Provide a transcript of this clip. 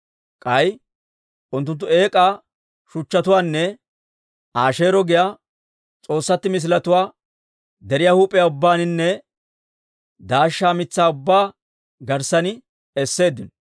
K'ay unttunttu eek'aa shuchchatuwaanne Asheero giyaa s'oossatti misiletuwaa deriyaa huup'iyaa ubbaaninne daashsha mitsaa ubbaa garssan esseeddino.